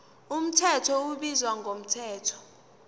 mthetho ubizwa ngomthetho